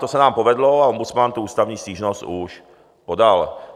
To se nám povedlo a ombudsman tu ústavní stížnost už podal.